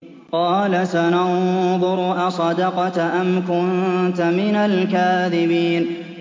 ۞ قَالَ سَنَنظُرُ أَصَدَقْتَ أَمْ كُنتَ مِنَ الْكَاذِبِينَ